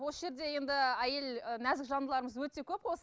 осы жерде енді әйел і нәзік жандыларымыз өте көп